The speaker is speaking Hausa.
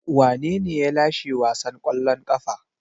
Wanene ya lashe wasan kwallon kafa?